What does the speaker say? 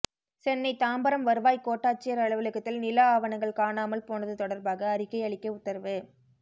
சென்னை தாம்பரம் வருவாய் கோட்டாட்சியர் அலுவலகத்தில் நில ஆவணங்கள் காணாமல் போனது தொடர்பாக அறிக்கை அளிக்க உத்தரவு